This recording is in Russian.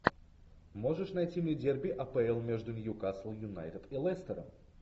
можешь найти мне дерби апл между ньюкасл юнайтед и лестером